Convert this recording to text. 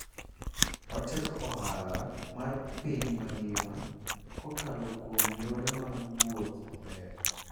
Otego ohala mar piny mangima kokalo kuom yore mag wuoth maber.